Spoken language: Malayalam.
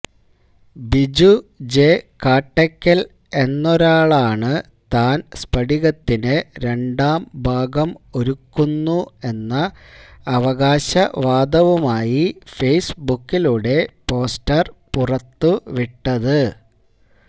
ബിജു ജെ കാട്ടയ്ക്കൽ എന്നൊരാളാണ് താൻ സ്ഫടികത്തിന് രണ്ടാം ഭാഗം ഒരുക്കുന്നു എന്ന അവകാശവാദവുമായി ഫേയ്സ്ബുക്കിലൂടെ പോസ്റ്റർ പുറത്തു വിട്ടത്